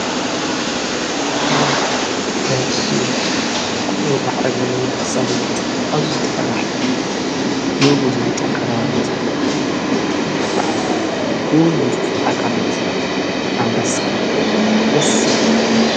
ዋው ደስዝብል ክቡር ማዕረግ ዘለዎ እንስሳ ዘቤት ኣዙዩ ተፈራሒ ንጉስ ናይ ጫካ ተባሂሉ ዝፍለጥ በዕል ክ ዝጢ ኣካላት ኣምበሳ ደስ ዝብል።